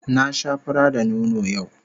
Na sha fura da nono yau